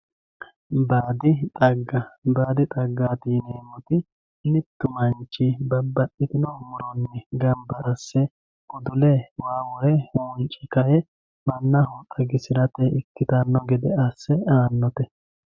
Baadi xagga, baadi xagga yineemmoti mittu manchi babbaxitino muronni gamba asse udule waa wore hunce kae mannaho xagisirate ikkittano gede asse aanote.